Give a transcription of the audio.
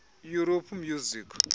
europe music